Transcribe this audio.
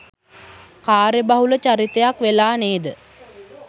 කාර්යබහුල චරිතයක් වෙලා නේද?